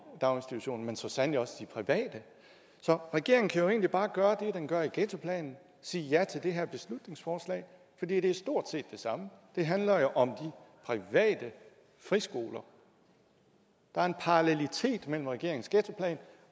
daginstitutioner men så sandelig også de private så regeringen kan jo egentlig bare gøre det den gør i ghettoplanen og sige ja til det her beslutningsforslag for det er stort set det samme det handler jo om private friskoler der er en parallelitet mellem regeringens ghettoplan